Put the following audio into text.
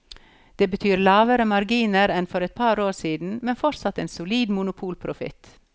Det betyr lavere marginer enn for et par år siden, men fortsatt en solid monopolprofitt.